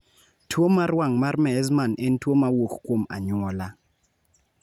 Tuo mar wang� mar Meesmann en tuo ma wuok kuom anyuola.